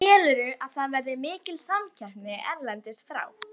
Telurðu að það verði mikil samkeppni erlendis frá?